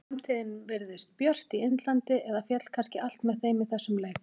Framtíðin virðist björt í Indlandi eða féll kannski allt með þeim í þessum leik?